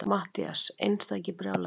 MATTHÍAS: Einstakir brjálæðingar!